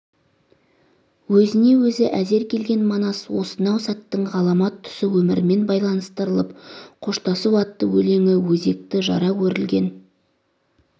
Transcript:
өзіне өзі әзер келген манас осынау сәттің ғаламат тұсы өмірмен байланыстырылып қоштасу атты өлеңі өзекті жара өрілген